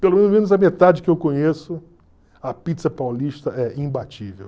a metade que eu conheço, a pizza paulista é imbatível.